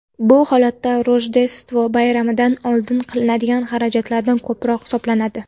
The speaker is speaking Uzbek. Bu odatda Rojdestvo bayramidan oldin qilinadigan xarajatdan ko‘proq hisoblanadi.